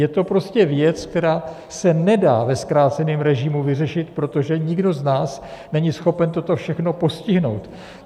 Je to prostě věc, která se nedá ve zkráceném režimu vyřešit, protože nikdo z nás není schopen toto všechno postihnout.